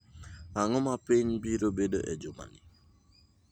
ang'o ma piny biro bedo e juma ni?